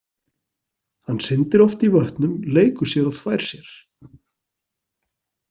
Hann syndir oft í vötnum, leikur sér og þvær sér.